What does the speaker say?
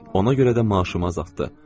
Ona görə də maaşımı azaldı.